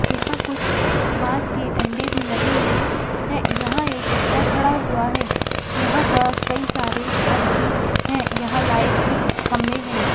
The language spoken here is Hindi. यहाँ कुछ बांस के डंडे भी लगे हुए है यहाँ एक बच्चा खड़ा हुआ है यहाँ पर कई सारे घर भी है यहाँ लाइट की खंभे है।